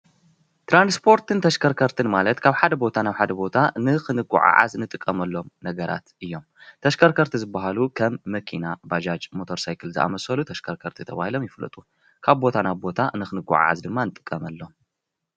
ትራንስፖርትን ተሽከርከርትን ማለት ካብ ሓደ ቦታ ናብ ሓደ ቦታ ንኽንጓዓዓዝ ንጥቀመሎም ነገራት እዮም ። ተሽከርከርቲ ዝበሃሉ ከም መኪና፣ ባጃጅ ሞተር ሳይክል ዝኣመሰሉ ተሽከርከርቲ ተባሂሎም ይፍለጡ ። ካብ ቦታ ናብ ቦታ ንኽንጓዓዓዝ ድማ ንጥቀመሎም።